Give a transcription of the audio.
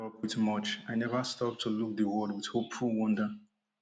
up with much i never stop to look di world wit hopeful wonder